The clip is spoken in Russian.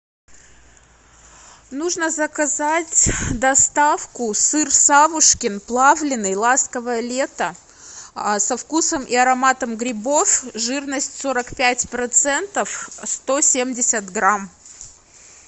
нужно заказать доставку сыр савушкин плавленый ласковое лето со вкусом и ароматом грибов жирность сорок пять процентов сто семьдесят грамм